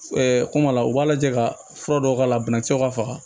kuma la u b'a lajɛ ka fura dɔw k'a la banakisɛw ka faga